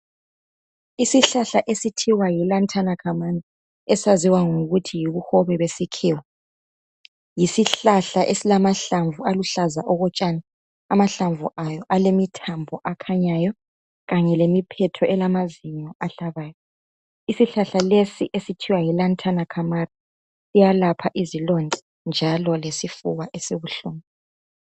Isihlahla esibizwa kuthiwa Yi lantana kamari esaziwa ngokuthi yibuhobe besikhiwa silamahlamvu aluhlaza okotshani amahlamvu aso alemithambo lemiphetho elameva ahlabayo, isihlahla esibokuthiwa yilantana kanari siyelapha izilonda njalo lesifuba esibuhlungu.